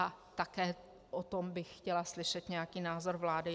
A také o tom bych chtěla slyšet nějaký názor vlády.